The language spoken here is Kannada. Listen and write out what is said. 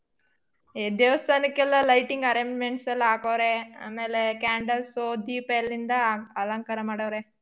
ಎ ದೇವ್ಸ್ಥಾಕ್ಕೆಲ್ಲ lighting arrangements ಎಲ್ಲಾ ಹಾಕೋವ್ರೆ ಆಮೇಲೆ candles ದೀಪ ಎಲ್ಲಿಂದ ಅಲಂಕಾರ ಮಾಡೋವ್ರೆ.